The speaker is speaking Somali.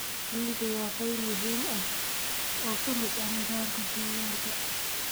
Shinnidu waa qayb muhiim ah oo ka mid ah nidaamka deegaanka.